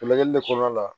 Lajɛli de kɔnɔna la